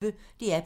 DR P1